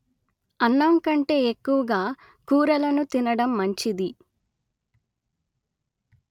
అన్నం కంటే ఎక్కువగా కూరలను తినడం మంచిది